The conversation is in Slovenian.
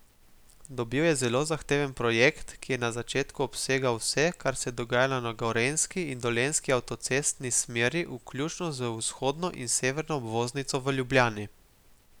Dobil je zelo zahteven projekt, ki je na začetku obsegal vse, kar se je dogajalo na gorenjski in dolenjski avtocestni smeri, vključno z vzhodno in severno obvoznico v Ljubljani.